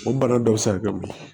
O bana dɔ bɛ se ka kɛ mun ye